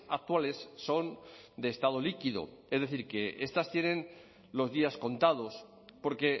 actuales son de estado líquido es decir que estas tienen los días contados porque